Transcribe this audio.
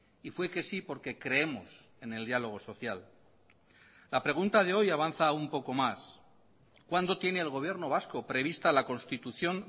y fue que sí porque creemos en el diálogo social la pregunta de hoy avanza un poco más cuándo tiene el gobierno vasco prevista la constitución